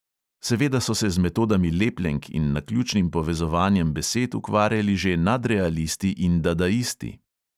Seveda so se z metodami lepljenk in naključnim povezovanjem besed ukvarjali že nadrealisti in dadaisti.